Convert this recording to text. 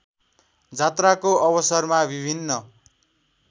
जात्राको अवसरमा विभिन्न